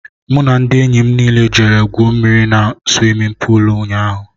M na ndị enyị mụ niile jere gwuo mmiri n'swimin poolu ụnyaahụ..